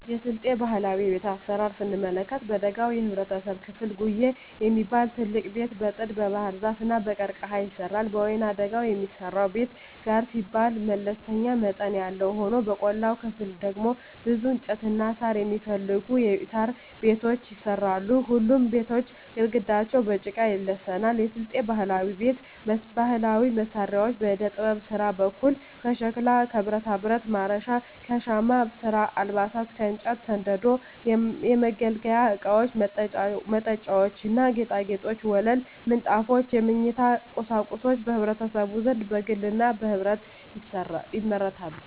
የስልጤ ባህላዊ ቤት አሰራር ስንመለከት በደጋው የህብረተሰብ ክፍል ጉዬ የሚባል ትልቅ ቤት በጥድ, በባህርዛፍ እና በቀርቀሀ ይሰራል። በወይናደጋው የሚሰራው ቤት ጋር ሲባል መለስተኛ መጠን ያለው ሆኖ በቆላማው ክፍል ደግሞ ብዙ እንጨትና ሳር የማይፈልጉ የሣር ቤቶች ይሰራሉ። ሁሉም ቤቶች ግድግዳቸው በጭቃ ይለሰናሉ። የስልጤ ባህላዊ ቤት ባህላዊ መሳሪያዎች በዕደጥበብ ስራ በኩል ከሸክላ ከብረታብረት (ማረሻ) ከሻማ ስራ አልባሳት ከእንጨት ከስንደዶ የመገልገያ እቃወች መጠጫዎች ና ጌጣጌጦች ወለል ምንጣፎች የመኝታ ቁሳቁሶች በህዝቡ ዘንድ በግልና በህብረት ይመረታሉ።